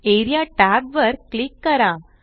A R E A tab वर click करा